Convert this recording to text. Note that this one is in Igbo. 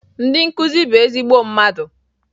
Ndị nkuzi bụ ezigbo mmadụ